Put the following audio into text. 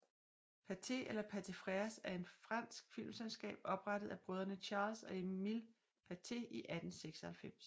Pathé eller Pathé Frères er et fransk filmselskab oprettet af brødrene Charles og Emile Pathé i 1896